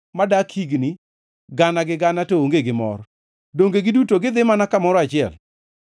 modak higni gana gi gana to onge gi mor. Donge giduto gidhi mana kamoro achiel?